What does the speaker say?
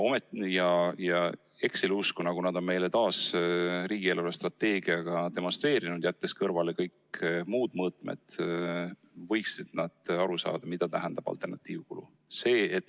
Ja Exceli usku, nagu nad on meile taas riigi eelarvestrateegiaga demonstreerinud, jättes kõrvale kõik muud mõõtmed, võiksid nad aru saada, mida tähendab alternatiivkulu.